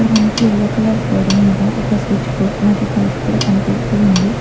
ఇక్కడ మనకి yellow colour గోడ మీద ఒక స్విచ్చు బోర్డ్ మరియు పైపు కూడా కనిపిస్తూ ఉంది.